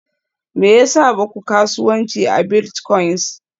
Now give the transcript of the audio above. Me yasa ba ku kasuwanci a biltcoins?